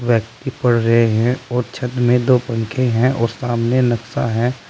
व्यक्ति पढ़ रहे हैं और छत में दो पंखे हैं और सामने नक्शा है।